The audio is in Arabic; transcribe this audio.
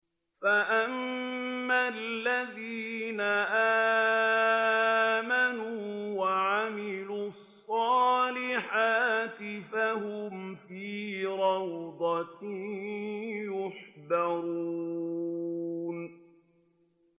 فَأَمَّا الَّذِينَ آمَنُوا وَعَمِلُوا الصَّالِحَاتِ فَهُمْ فِي رَوْضَةٍ يُحْبَرُونَ